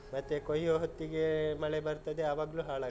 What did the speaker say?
ಮತ್ತೆ, ಕೊಯ್ಯೊ ಹೊತ್ತಿಗೆ, ಮಳೆ ಬರ್ತದೆ ಅವಾಗ್ಲೂ .